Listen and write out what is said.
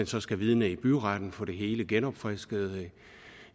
så skal vidne byretten og få det hele genopfrisket